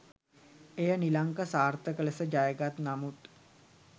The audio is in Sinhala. එය නිලංක සාර්ථක ලෙස ජයගත් නමුත්